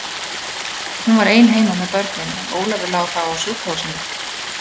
Hún var ein heima með börnin, en Ólafur lá þá á sjúkrahúsinu.